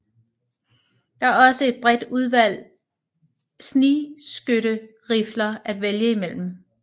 Det er også et bredt udvalg snigskytterifler at vælge mellem